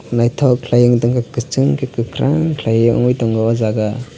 naithok khlai ungtongkha kwchung khe kwkhwrang khlaiwui tongo o jaga.